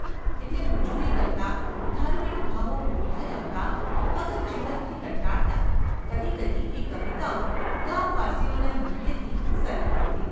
એટલે મજૂરી કરતાં, ધાર્મિક ભાવો ઊભરાઈ આવતાં, અગર જીવનથી કંટાળતાં કદી કદી એ કવિતાઓ ગામવાસીઓને મુખેથી સરી પડતી.